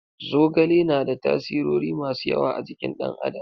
Zogale na da tasirori masu yawa a jikin ɗan adam.